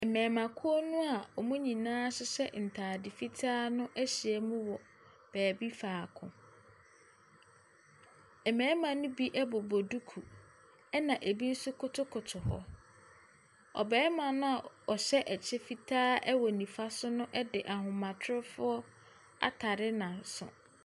Mmarimakuo no a wɔn nyinaa hyehyɛ ntaade fitaa no ahyia mu wɔ beebi faako. Mmarima ne bi bobɔ duku, na bi nso kotokoto hɔ. Ɔbarima no a ɔhyɛ kyɛ fitaa wɔ nifa so no de ahomatrofoɔ atare n’aso.